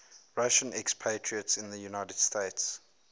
russian expatriates in the united states